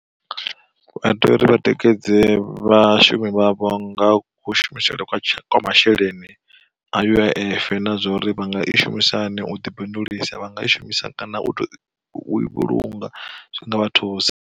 Vha tea uri vha tikedze vhashumi vha vho nga ku shumisele kwa masheleni, a U_I_F na zwa uri vhanga i shumisa hani u ḓi bindulisaho vhanga i shumisa kana u vhulunga zwi nga vha thusa.